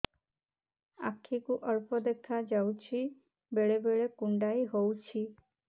ଆଖି କୁ ଅଳ୍ପ ଦେଖା ଯାଉଛି ବେଳେ ବେଳେ କୁଣ୍ଡାଇ ହଉଛି